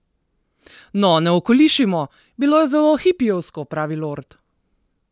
No, ne okolišimo: "Bilo je zelo hipijevsko," pravi Lord.